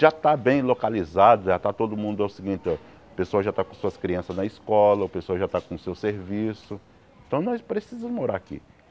Já está bem localizado, já está todo mundo é o seguinte, o pessoal já está com suas crianças na escola, o pessoal já está com o seu serviço, então nós precisamos morar aqui.